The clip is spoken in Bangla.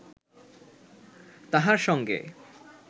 তাহার সঙ্গে